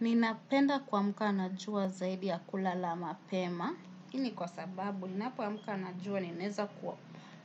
Ninapenda kuamka na jua zaidi ya kulalama mapema. Hii ni kwa sababu, ninapoamka najua ninaeza